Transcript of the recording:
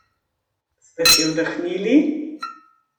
Ste si oddahnili?